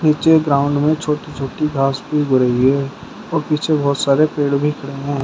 पीछे ग्राउंड में छोटी छोटी घास भी उग रही है और पीछे बहोत सारे पेड़ भी खड़े हैं।